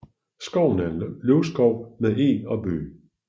Skoven er en løvskov med eg og bøg